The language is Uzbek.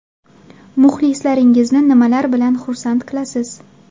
Muxlislaringizni nimalar bilan xursand qilasiz?